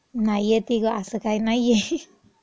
नाही, येती गं. असं काही नाहीये .